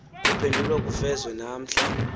kuphendulwe kufezwe namhla